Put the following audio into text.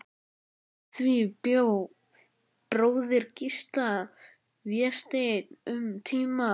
Undir því bjó bróðir Gísla, Vésteinn, um tíma.